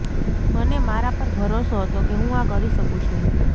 મને મારા પર ભરોસો હતો કે હું આ કરી શકું છું